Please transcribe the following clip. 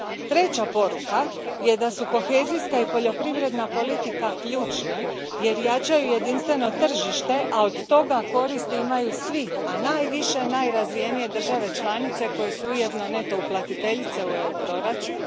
Treća poruka je da su kohezijska i poljoprivredna politika ključne jer jačaju jedinstveno tržište, a od toga koristi imaju svi, a najviše najrazvijenije države članice koje su ujedno neto uplatiteljice u EU proračun.